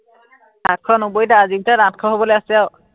পাঁচশ নব্বৈটা আজিৰ ভিতৰত আঠশ হবলে আছে আৰু।